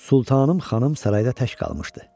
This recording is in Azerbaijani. Sultanım xanım sarayda tək qalmışdı.